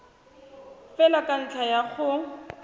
fela ka ntlha ya go